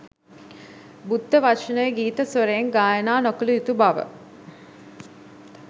බුද්ධ වචනය ගීත ස්වරයෙන් ගායනා නොකළ යුතු බව